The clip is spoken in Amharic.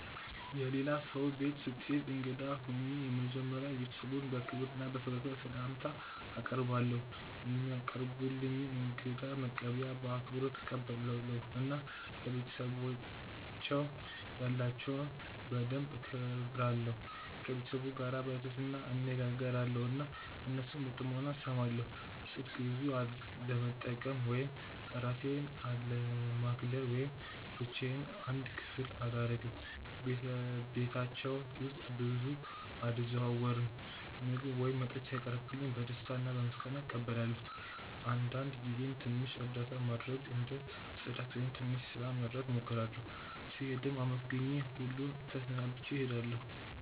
የሌላ ሰው ቤት ስሄድ እንግዳ ሆኜ መጀመሪያ ቤተሰቡን በክብር እና በፈገግታ ስላምታ አቀርባለው፧ የሚያቀርቡልኝን እንግዳ መቀበያ በአክብሮት እቀበላለሁ እና ለቤተሰባቸው ያላቸውን ደንብ እከብራለሁ። ከቤተሰቡ ጋር በትህትና እነጋገራለው እና እነሱን በጥሞና እስማለው። ስልክ ብዙ አለመጠቀም ወይም እራሴን አለማግለል ወይም ብቻዮን አንድ ክፍል አላረግም በቤታቸው ውስጥ ብዙ አልዘዋወርም። ምግብ ወይም መጠጥ ሲያቀርቡልኝ በደስታ እና በምስጋና እቀበላለው አንዳንድ ጊዜም ትንሽ እርዳታ ማድረግ እንደ ጽዳት ወይም ትንሽ ስራ መርዳት እሞክራለሁ። ስሄድም አመስግኜ ሁሉን ተሰናብቼ እሄዳለሁ።